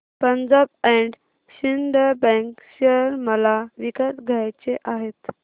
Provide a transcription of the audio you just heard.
Punjab and Sind bank share मला विकत घ्यायचे आहेत